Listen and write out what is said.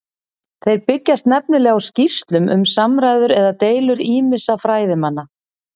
Þeir byggjast nefnilega á skýrslum um samræður eða deilur ýmissa fræðimanna.